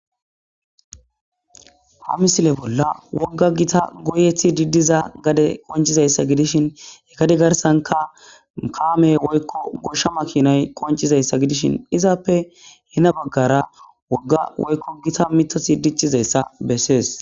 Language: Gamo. ha misile bolla wogga gita goyethi diddiza gade qonchizayssa gidishin ekade garsanka kaame woykko goshsha makinay qoncizayssa gidishin izaappe hena baggara wogga woykko gita mitosi diccizayssa bessees